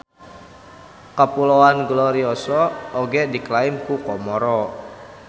Kapuloan Glorioso oge diklaim ku Komoro.